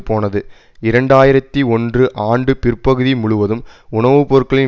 போனது இரண்டு ஆயிரத்தி ஒன்று ஆண்டு பிற்பகுதி முழுவதும் உணவு பொருட்களின்